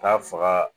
K'a faga